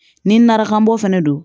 Ni narakanbɔ fɛnɛ don